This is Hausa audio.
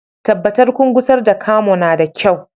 Tabbatar kun gusar da Camo na da kyau